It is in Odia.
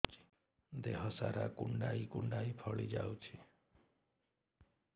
ଦେହ ସାରା କୁଣ୍ଡାଇ କୁଣ୍ଡାଇ ଫଳି ଯାଉଛି